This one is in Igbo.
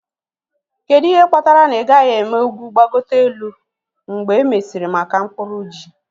Kedu ihe kpatara na ị gaghị eme ugwu gbagote elu mgbe e mesịrị maka mkpuru ji?.